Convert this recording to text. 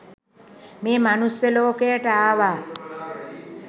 මේ මනුස්ස ලෝකයට ආවා.